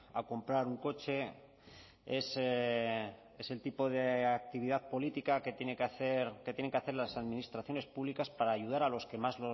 a comprar un coche es el tipo de actividad política que tiene que hacer que tienen que hacer las administraciones públicas para ayudar a los que más